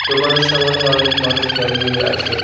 দোকানের সামনে অনেক মানুষ দাঁড়িয়ে আছে।